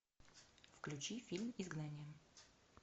включи фильм изгнание